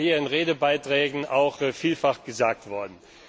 Das ist ja hier in Redebeiträgen auch vielfach gesagt worden.